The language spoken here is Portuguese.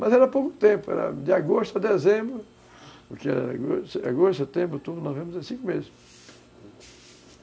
Mas era pouco tempo, era de agosto a dezembro, porque agosto, setembro, outubro, novembro, cinco meses.